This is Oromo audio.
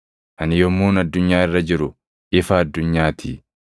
Ani yommuun addunyaa irra jiru, ifa addunyaa ti.”